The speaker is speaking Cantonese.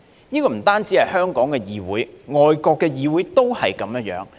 不單是香港的議會，外國的議會都是這樣。